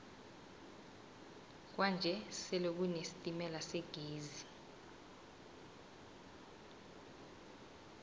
kwanje sele kune sitemala segezi